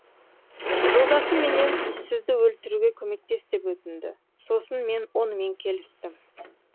жолдасым менен сізді өлтіруге көмектес деп өтінді сосын мен онымен келістім